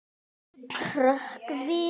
Hrökk við.